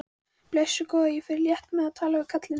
Blessuð góða, ég fer létt með að tala við kallinn.